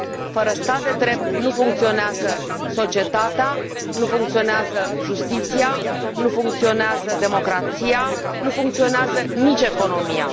Fără stat de drept nu funcționează societatea, nu funcționează justiția, nu funcționează democrația, nu funcționează nici economia.